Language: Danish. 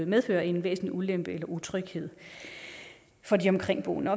medfører en væsentlig ulempe eller utryghed for de omkringboende